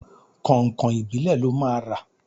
Kọ̀nkọ̀n ìbílẹ̀ lọ máa rà.